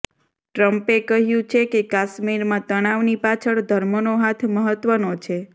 ટ્રમ્પે કહ્યું છે કે કાશ્મીરમાં તણાવની પાછળ ધર્મનો હાથ મહત્વનો છે